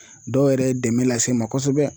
Dɔw yɛrɛ ye dɛmɛ lase n ma kosɛbɛ